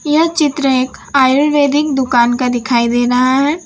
यह चित्र एक आयुर्वेदिक दुकान का दिखाई दे रहा है।